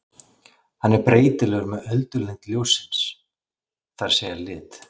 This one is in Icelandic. Hann er breytilegur með öldulengd ljóssins, það er að segja lit.